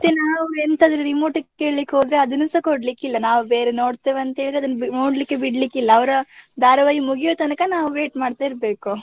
ಅದೇ ನಾವು ಎಂತಾದ್ರೂ remote ಕೇಳ್ಳಿಕ್ಕೆ ಹೋದ್ರೆ ಅದನ್ನುಸ ಕೊಡ್ಲಿಕ್ಕೆಇಲ್ಲಾ, ನಾವು ಬೇರೆ ನೋಡ್ತೇವೆ ಅಂತ ಹೇಳಿ ಅದನ್ನು ನೋಡಲಿಕ್ಕೆ ಬಿಡ್ಲಿಕ್ ಇಲ್ಲಾ, ಅವ್ರ ಧಾರವಾಹಿ ಮುಗಿಯುವ ತನಕ, ನಾವು wait ಮಾಡ್ತಾ ಇರ್ಬೇಕು.